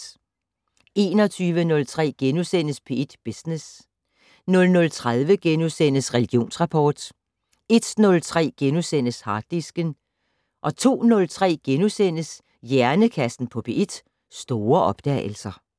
21:03: P1 Business * 00:30: Religionsrapport * 01:03: Harddisken * 02:03: Hjernekassen på P1: Store opdagelser *